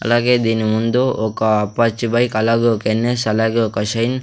అలాగే దీని ముందు ఒక అపాచీ బైక్ అలాగే ఒక ఎన్_ఎన్ అలాగే ఒక షైన్ --